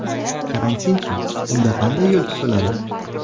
Karantinchi, unda qanday yo‘l tutiladi?